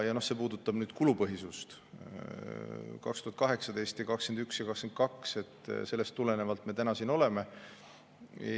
Ja mis puudutab kulupõhisust 2021 ja 202, siis sellest tulenevalt me täna siin oleme.